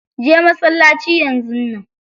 Je masallaci yanzun nan.